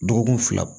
Dɔgɔkun fila